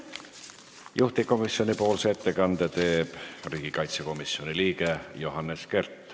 Juhtivkomisjoni ettekande teeb riigikaitsekomisjoni liige Johannes Kert.